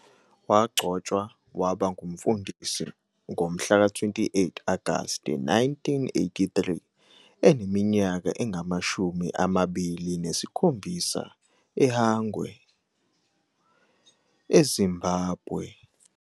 Wagcotshwa waba ngumfundisi ngomhlaka 28 Agasti 1983 eneminyaka engamashumi amabili nesikhombisa eHwange, eZimbabwe.